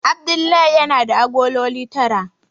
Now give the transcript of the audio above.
Abdullahi yana da agololi tara.